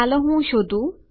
ચાલો હું શોધું